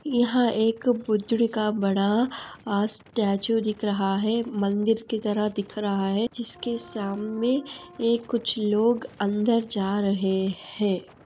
यहाँ एक बुध्य का बड़ा स्टेचू दिख रहा है | मंदिर की तरह दिख रहा है | जिसके सामने ये कुछ लोग अंदर जा रहे है |